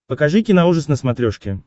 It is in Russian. покажи киноужас на смотрешке